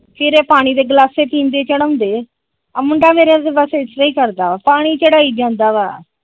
ਫਿਰ ਇਹ ਪਾਣੀ ਦੇ ਗਲਾਸੇ ਪੀਣਦੇ ਚੜ੍ਹਆਉਂਦੇ ਆਹ ਮੁੰਡਾ ਮੇਰਾ ਬਸ ਪਾਣੀ ਚੜ੍ਹਾਈ ਜਾਂਦਾ ਆ ।